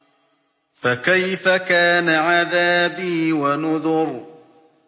فَكَيْفَ كَانَ عَذَابِي وَنُذُرِ